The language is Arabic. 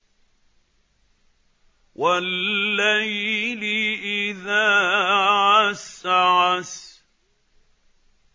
وَاللَّيْلِ إِذَا عَسْعَسَ